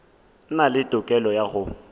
na le tokelo ya go